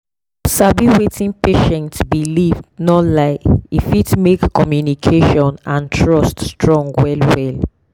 to sabi wetin patient believe no lie e fit make communication and trust strong well well.